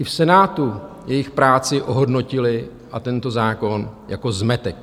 I v Senátu jejich práci ohodnotili a tento zákon jako zmetek.